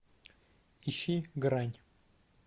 ищи грань